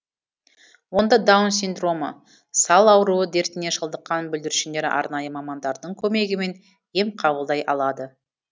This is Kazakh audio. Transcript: онда даун синдромы сал ауруы дертіне шалдыққан бүлдіршіндер арнайы мамандардың көмегімен ем қабылдай алады